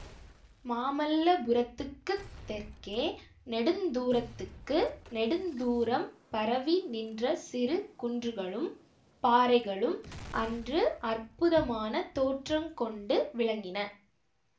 மாமல்லபுரத்துக்குத் தெற்கே நெடுந் தூரத்துக்கு நெடுந்தூரம் பரவி நின்ற சிறு குன்றுகளும் பாறைகளும் அன்று அற்புதமான தோற்றங்கொண்டு விளங்கின